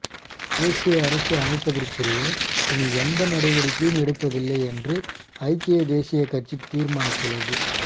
தேசிய அரசு அமைப்பதற்குரிய இனி எந்த நடவடிக்கையும் எடுப்பதில்லை என்று ஐக்கிய தேசியக் கட்சி தீர்மானித்துள்ளது